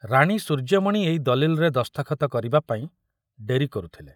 ରାଣୀ ସୂର୍ଯ୍ୟମଣି ଏଇ ଦଲିଲରେ ଦସ୍ତଖତ କରିବାପାଇଁ ଡେରି କରୁଥିଲେ।